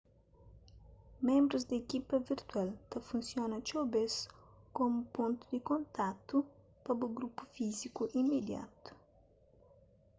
ménbrus di ekipa virtual ta funsiona txeu bês komu pontu di kontatu pa bu grupu físiku imidiatu